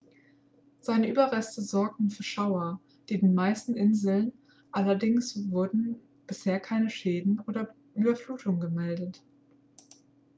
seine überreste sorgten für schauer auf den meisten inseln allerdings wurden bisher keine schäden oder überflutungen gemeldet